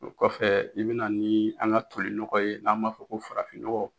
O kɔfɛ i bɛna ni an ka tolinɔgɔ ye n'an b'a fɔ ko farafinnɔgɔ.